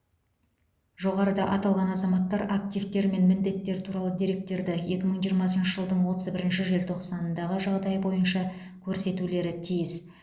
жоғарыда аталған азаматтар активтер мен міндеттер туралы деректерді екі мың жиырмасыншы жылдың отыз бірінші желтоқсанындағы жағдай бойынша көрсетулері тиіс